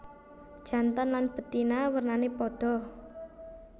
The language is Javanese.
Jantan lan betina wernané padha